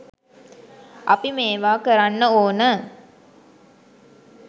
අපි මේවා කරන්න ඕන